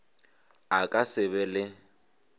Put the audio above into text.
a ka se be le